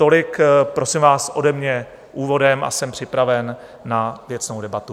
Tolik, prosím vás, ode mě úvodem a jsem připraven na věcnou debatu.